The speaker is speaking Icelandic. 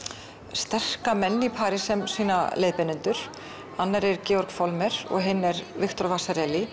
sterka menn í París sem sína leiðbeinendur annar er Georg og hinn er Viktor